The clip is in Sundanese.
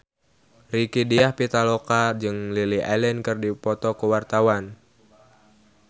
Rieke Diah Pitaloka jeung Lily Allen keur dipoto ku wartawan